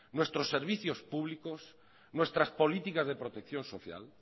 nuestros servicios públicos nuestras políticas de protección social